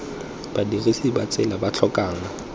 badirisi ba tsela ba tlhokang